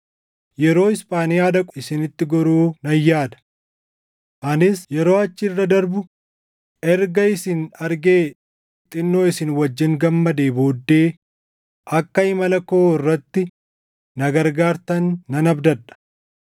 yeroo Isphaaniyaa dhaqu isinitti goruu nan yaada. Anis yeroo achi irra darbu erga isin argee xinnoo isin wajjin gammadee booddee akka imala koo irratti na gargaartan nan abdadha.